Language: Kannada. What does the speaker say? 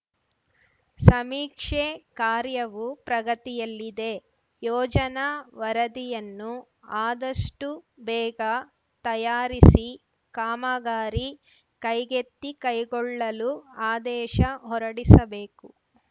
ಸಮೀಕ್ಷೆ ಕಾರ್ಯವು ಪ್ರಗತಿಯಲ್ಲಿದೆ ಯೋಜನಾ ವರದಿಯನ್ನು ಅದಷ್ಟುಬೇಗ ತಯಾರಿಸಿ ಕಾಮಗಾರಿ ಕೈಗೆತ್ತಿಕೈಗೊಳ್ಳಲು ಆದೇಶ ಹೊರಡಿಸಬೇಕು